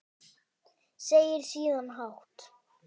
Segir síðan hátt